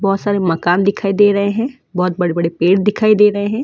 बहोत सारे मकान दिखाई दे रहे हैं बहोत बड़े बड़े पेड़ दिखाई दे रहे हैं।